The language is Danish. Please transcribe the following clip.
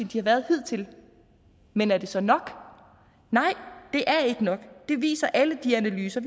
de har været hidtil men er det så nok nej det er ikke nok det viser alle de analyser